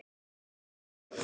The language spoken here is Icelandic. Núna var stundin komin.